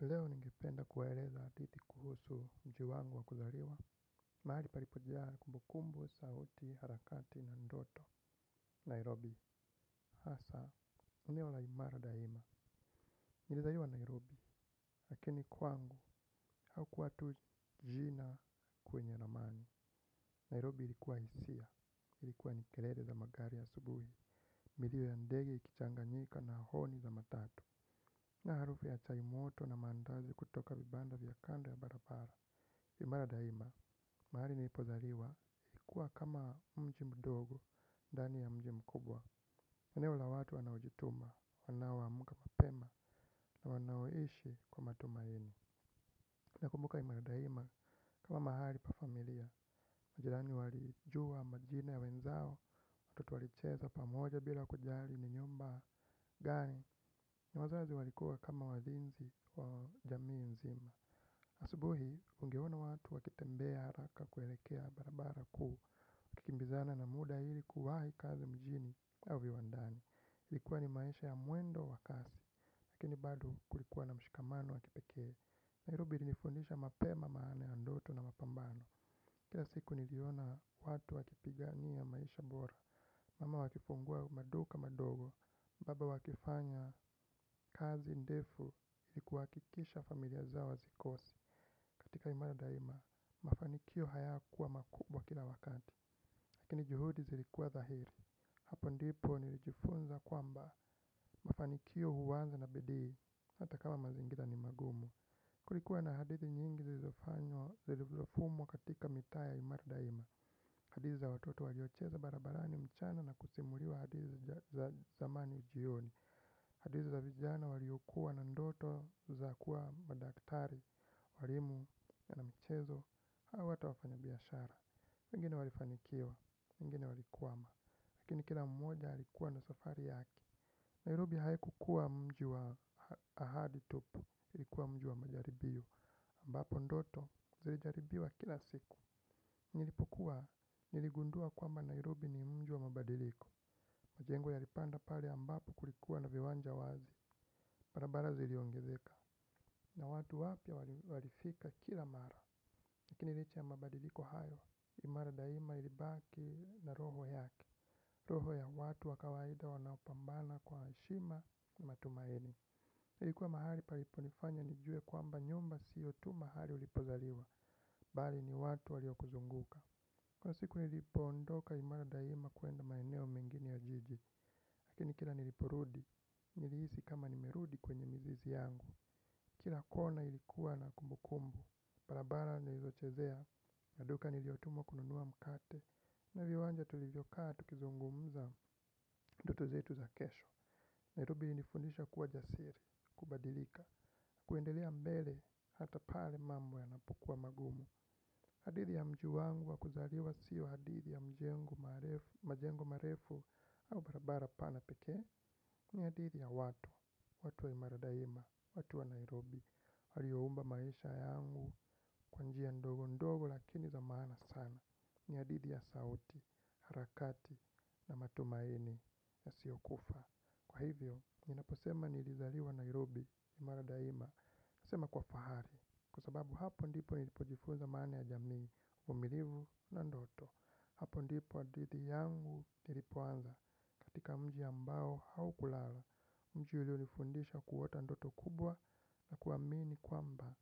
Leo ningipenda kuwaeleza hadithi kuhusu mjiwangu wa kuzariwa. Mahali paripojaa kumbukumbu sauti harakati na ndoto, Nairobi. Haasa, eneo la imara daima. Nilizaliwa Nairobi lakini kwangu hau kuwa tujina kwenye na ramani Nairobi ilikuwa hisia, ilikuwa nikelele za magari a subuhi. Milio ya ndege ikichanganyika na honi za matatu. Na harufu ya chaimoto na mandazi kutoka vibanda vya kando ya barabara. Imara daima, mahali nilipozaliwa, kuwa kama mji mdogo, ndani ya mji mu kubwa eneo la watu wanaojituma, wanao mka mapema na wanaoishi kwa matumaini. Na kumbuka imara daima, kama mahali pa familia, majirani walijua majina ya wenzao watoto walicheza pamoja bila kujari ni nyumba gani. Na wazazi walikuwa kama walinzi wa jamii nzima. Asubuhi, ungeona watu wakitembea haraka kuelekea barabara kuu. Kimbizana na muda hili kuwahi kazi mjini au viwandani ili kuwa ni maisha ya mwendo wakasi. Lakini bado kulikuwa na mshikamano wakipekee Nairobi ilinifundisha mape ma maana yandoto na mapambano. Kila siku niliona watu wakipigania maisha bora. Mama wakifungua maduka madogo baba wakifanya kazi ndefu ili kuhakikisha familia zao hazikosi. Katika imara daima, mafanikio hayakuwa makubwa kila wakati. Lakini juhudi zilikuwa thahiri. Hapo ndipo nilijifunza kwamba mafanikio huanza na bidii. Hatakama mazingira ni magumu. Kulikuwa na hadithi nyingi zilizofanywa zilizofumwa katika mitaa ya imara daima. Hadithi za watoto waliocheza barabarani mchana na kusimuliwa hadithi za zamani jioni hadithi za vijana waliokuwa na ndoto za kuwa madaktari walimu wa na michezo au hata wafanya biashara wengine walifanikiwa wengine walikwama. Lakini kila mmoja alikuwa na safari yake Nairobi haiku kuwa mji wa ahadi tupu ilikuwa mji wa majaribio ambapo ndoto zilijaribiwa kila siku. Nilipokua niligundua kwamba Nairobi ni mji wa mabadiliko. Majengo ya lipanda pale ambapo kulikuwa na viwanja wazi barabara ziliongezeka. Na watu wapia walifika kila mara lakini licha ya mabadiliko hayo, imara daima ilibaki na roho yake. Roho ya watu wakawaida wanaopambana kwa heshima na matumaini ilikuwa mahali paliponifanya nijue kwamba nyumba siyo tu mahali ulipozaliwa. Bali ni watu walio kuzunguka. Kwa siku nilipo ondoka imara daima kwenda maeneo mengine ya jiji. Lakini kila niliporudi, nilihisi kama nimerudi kwenye mizizi yangu. Kila kona ilikuwa na kumbu kumbu barabara nilizochezea ya duka niliyotumwa kununua mkate. Na viwanja tulivyokaa tukizungumza ndoto zetu za kesho Nairobi ilinifundisha kuwa jasiri, kubadilika kuendelea mbele hata pale mambo ya napokuwa magumu. Hadithi ya mji wangu wakuzaliwa siyo hadithi ya majengo marefu au barabara pana pekee. Ni hadithi ya watu, watu wa Imara daima, watu wa Nairobi walioumba maisha yangu kwanjia ndogo ndogo lakini za maana sana ni hadithi ya sauti, harakati na matumaini ya siokufa. Kwa hivyo, ninaposema ni lizaliwa Nairobi, Imara Daima nasema kwa fahari kwa sababu hapo ndipo nilipojifunza maana ya jamii uvumilivu na ndoto hapo ndipo hadithi yangu ilipoanza katika mji ambao haukulala mji ulio nifundisha kuota ndoto kubwa na kuamini kwamba